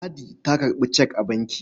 Ladi ta karɓi cek a banki.